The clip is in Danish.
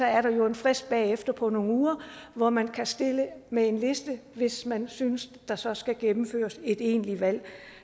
er der jo en frist bagefter på nogle uger hvor man kan stille med en liste hvis man synes der så skal gennemføres et egentligt valg